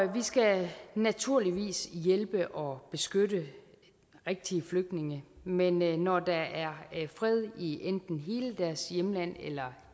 vi skal naturligvis hjælpe og beskytte rigtige flygtninge men når der er fred i enten hele deres hjemland eller